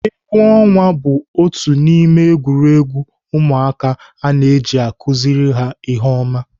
Egwu ọnwa bụ otu n'ime egwuregwu ụmụaka a na-eji akụziri ha ihe oma